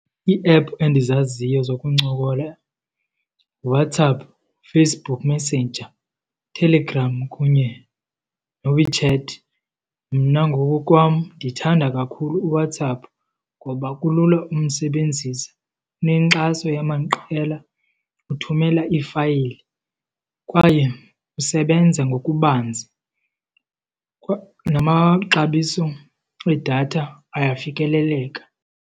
Ii-app endizaziyo zokuncokola nguWhatsApp Facebook Messenger, Telegram kunye noWeChat. Mna ngokokwam ndithanda kakhulu uWhatsApp ngoba kulula umsebenzisa. Unenkxaso yamaqela, uthumela iifayili kwaye usebenza ngokubanzi, namaxabiso edatha ayafikeleleka.